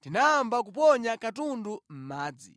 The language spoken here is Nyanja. tinayamba kuponya katundu mʼmadzi.